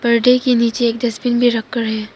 पर्दे के नीचे एक डस्टबिन भी रख कर है।